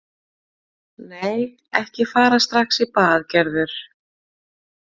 Nei, ekki fara strax bað Gerður.